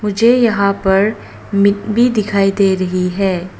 मुझे यहां पर भी दिखाई दे रही है।